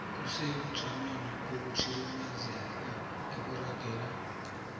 isebujamweni bokutsirimezeka okuragela